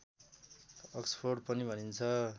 Oxford पनि भनिन्छ